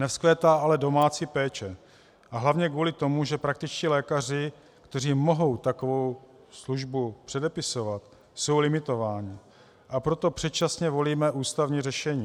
Nevzkvétá ale domácí péče a hlavně kvůli tomu, že praktičtí lékaři, kteří mohou takovou službu předepisovat, jsou limitováni, a proto předčasně volíme ústavní řešení.